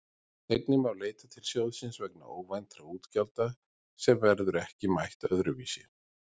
Einnig má leita til sjóðsins vegna óvæntra útgjalda sem verður ekki mætt öðru vísi.